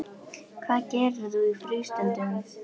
Hvað gerir þú í frístundum?